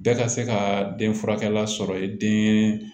Bɛɛ ka se ka den furakɛla sɔrɔ ye den